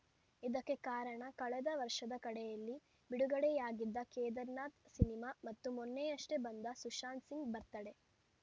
ಇದಕ್ಕೆ ಕಾರಣ ಕಳೆದ ವರ್ಷದ ಕಡೆಯಲ್ಲಿ ಬಿಡುಗಡೆಯಾಗಿದ್ದ ಕೇದಾರ್‌ನಾಥ್‌ ಸಿನಿಮಾ ಮತ್ತು ಮೊನ್ನೆಯಷ್ಟೇ ಬಂದ ಸುಶಾಂತ್‌ ಸಿಂಗ್‌ ಬರ್ತ್ ಡೇ